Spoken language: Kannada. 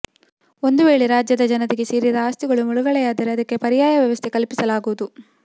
ಒಂದು ವೇಳೆ ರಾಜ್ಯದ ಜನತೆಗೆ ಸೇರಿದ ಆಸ್ತಿಗಳು ಮುಳುಗಡೆಯಾದರೆ ಅದಕ್ಕೆ ಪರ್ಯಾಯ ವ್ಯವಸ್ಥೆ ಕಲ್ಪಿಸಲಾಗುವುದು